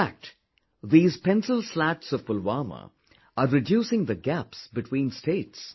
In fact, these Pencil Slats of Pulwama are reducing the gaps between states